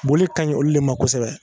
Boli kaɲi olu le ma kosɛbɛ